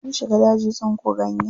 Sun shiga daji tsinko ganye.